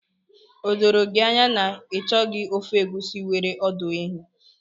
O doro gị anya na ị chọghị ofe egusi nwere ọdụ ehi?